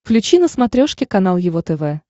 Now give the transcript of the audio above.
включи на смотрешке канал его тв